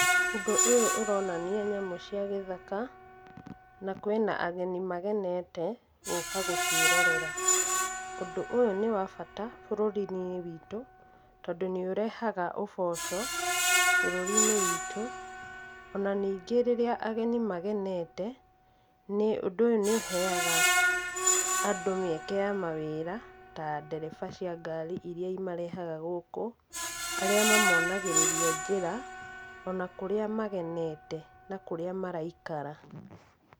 Ũndũ ũyũ ũronania nyamũ cia gĩthaka, na kwĩna ageni magenete, gũka gũciorera. Ũndũ ũyũ nĩ wa bata, bũrũri-inĩ witũ, tondũ nĩũrehaga ũboco, bũrũri-inĩ witũ, o na ningĩ rĩrĩa ageni magenete, ũndũ ũyũ nĩũheaga andũ mĩeke ya mawĩra, ta ndereba cia ngari iria imarehaga gũkũ, arĩa mamonagĩrĩria njĩra, o na kũrĩa magenete na kũrĩa maraikara.